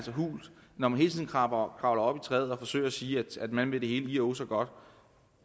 hult når man hele tiden kravler op i træet og forsøger at sige at man vil det hele ih og åh så godt